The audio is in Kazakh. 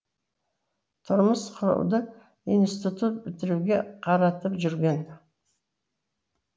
тұрмыс құруды институт бітіруге қаратып жүрген